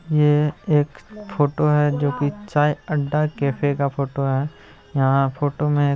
ये एक फोटो है जो की चाय अड्डा कैफे का फोटो है| यहाँ फोटो में एक --